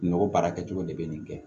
N'o baara kɛcogo de bɛ nin kɛ